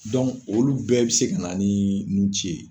olu bɛɛ bɛ se ka na ni nun ci ye.